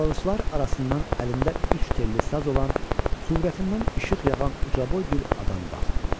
Çalğıçılar arasından əlində üç telli saz olan, surətindən işıq yağan ucaboy bir adam qalxdı.